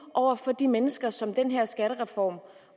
over for de mennesker som den her skattereform